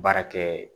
Baara kɛ